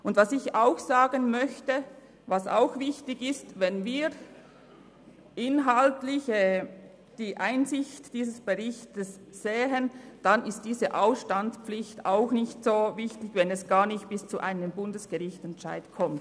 Und was ich auch sagen möchte, das ebenfalls wichtig ist: Wenn wir inhaltlich die Einsicht in diesen Bericht nehmen, dann ist diese Ausstandspflicht auch nicht so wichtig, weil es gar nicht erst bis zu einem Bundesgerichtsentscheid kommt.